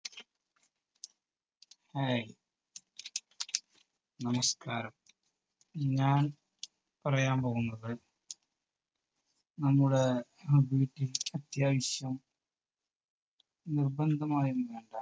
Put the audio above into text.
hi, നമസ്കാരം. ഞാൻ പറയാൻ പോകുന്നത് നമ്മുടെ അത്യാവശ്യം നിർബന്ധമായ